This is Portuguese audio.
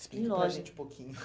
Explica para a gente um pouquinho.